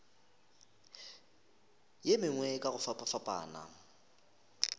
ye mengwe ka go fapafapana